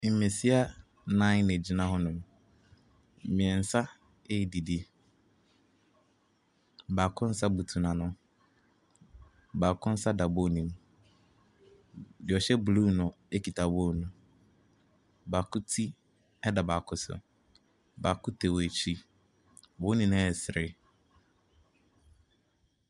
Mmesia nnan na wɔgyina hɔnom. Mmeɛnsa redidi. Baako nsa butu n'ano. Baako nsa da bowl no mu. Deɛ ɔhyɛ blue no kita bowl no. Baako ti da baako so. Baako tɛ wɔn akyi. Wɔn nyinaa resere.